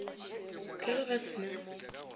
ka ge ba se na